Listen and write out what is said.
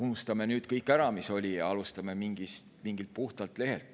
Unustame nüüd ära kõik, mis oli, ja alustame mingilt puhtalt lehelt.